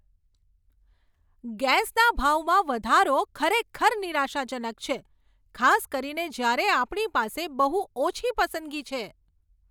ગેસના ભાવમાં વધારો ખરેખર નિરાશાજનક છે, ખાસ કરીને જ્યારે આપણી પાસે બહુ ઓછી પસંદગી છે.